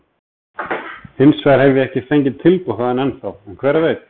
Hinsvegar hef ég ekki fengið tilboð þaðan ennþá, en hver veit?